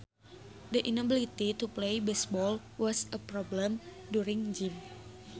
The inability to play baseball was a problem during gym